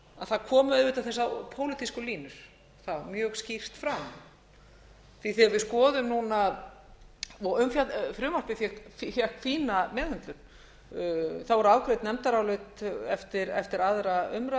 það komu auðvitað þessar pólitísku línur þar mjög skýrt fram því að þegar við skoðum núna frumvarpið fékk fína meðhöndlun það voru afgreidd nefndarálit eftir aðra umræðu